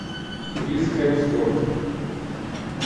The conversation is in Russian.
крис хемсворт